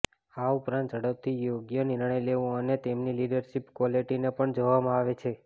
આ ઉપરાંત ઝડપથી યોગ્ય નિર્ણય લેવો અને તેમની લિડરશીપ ક્વોલિટીને પણ જોવામાં આવે છે